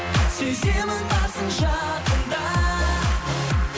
сеземін барсың жақында